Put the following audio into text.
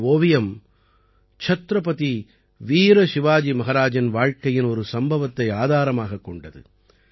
இந்த ஓவியம் சத்ரபதி வீர சிவாஜி மஹாராஜின் வாழ்க்கையின் ஒரு சம்பவத்தை ஆதாரமாகக் கொண்டது